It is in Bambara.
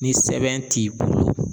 Ni sɛbɛn t'i bolo